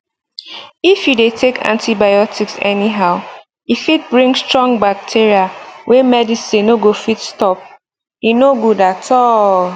if you dey take antibiotics anyhow e fit bring strong bacteria wey medicine no go fit stop e no good at all